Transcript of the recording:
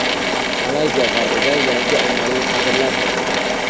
Malayziya g‘arbida yangi ommaviy qabrlar topildi.